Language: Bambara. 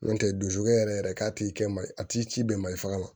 N'o tɛ dusu yɛrɛ k'a t'i kɛ ma a t'i ci bɛn mali faga ma